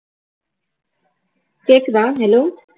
கேட்குதா hello